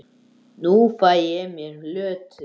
Nú fæ ég mér Lödu.